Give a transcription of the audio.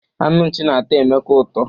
Anụ nchị na-atọ Emeka ụtọ.